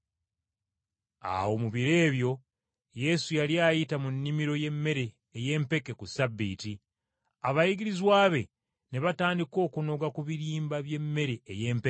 Awo mu biro ebyo Yesu yali ayita mu nnimiro y’emmere ey’empeke ku Ssabbiiti, abayigirizwa be ne batandika okunoga ku birimba by’emmere ey’empeke.